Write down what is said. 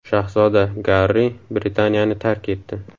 Shahzoda Garri Britaniyani tark etdi.